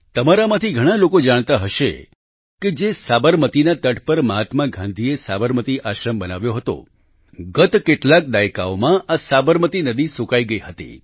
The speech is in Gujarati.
તમારામાંથી ઘણાં લોકો જાણતા હશે કે જે સાબરમતીના તટ પર મહાત્મા ગાંધીએ સાબરમતી આશ્રમ બનાવ્યો હતો ગત કેટલાક દાયકાઓમાં આ સાબરમતી નદી સૂકાઈ ગઈ હતી